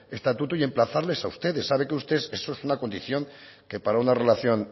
estatuto y emplazarles a ustedes sabe que usted es una condición que para una relación